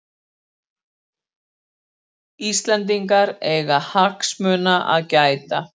Íslendingar eiga hagsmuna að gæta